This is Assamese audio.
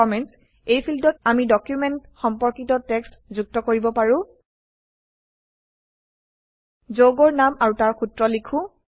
কমেণ্টছ এই ফীল্ডত আমি ডকুমেন্ট সম্পৰ্কিত টেক্সট যুক্ত কৰিব পাৰো যৌগৰ নাম আৰু তাৰ সূত্ৰ লিখো